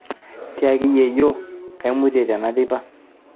tiaki yieyio kaimutie tena teipa